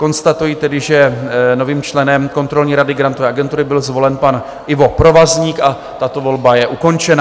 Konstatuji tedy, že novým členem kontrolní rady Grantové agentury byl zvolen pan Ivo Provazník, a tato volba je ukončena.